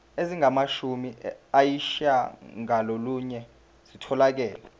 ezingamashumi ayishiyagalolunye zitholakele